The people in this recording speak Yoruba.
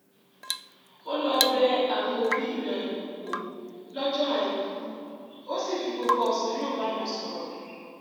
ó lọ bẹ àwọn òbí rẹ̀ wò lọ́jọ́ àìkú ó sì fi gbogbo ọ̀sán náà bá wọn sọ̀rọ̀